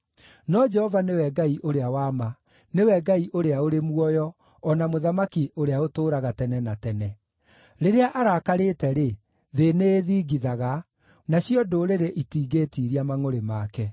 No Jehova nĩwe Ngai ũrĩa wa ma; nĩwe Ngai ũrĩa ũrĩ muoyo, o na mũthamaki ũrĩa ũtũũraga tene na tene. Rĩrĩa arakarĩte-rĩ, thĩ nĩĩthingithaga, nacio ndũrĩrĩ itingĩĩtiiria mangʼũrĩ make.